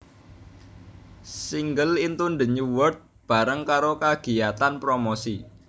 Singel Into the New World bareng karo kagiyatan promosi